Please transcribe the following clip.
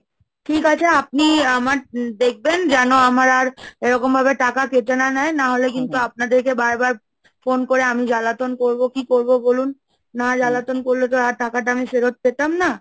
ঠিক আছে, আপনি আমার দেখবেন যেন আমার আর এরকম ভাবে টাকা কেটে না নেয়, না হলে কিন্তু আপনাদেরকে বার বার phone করে আমি জ্বালাতন করবো, কি করবো বলুন না জ্বালাতন করলে তো আর টাকাটা আমি ফেরত পেতাম না।